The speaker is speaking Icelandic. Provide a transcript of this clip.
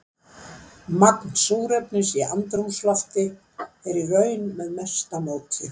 Magn súrefnis í andrúmslofti er í raun með mesta móti.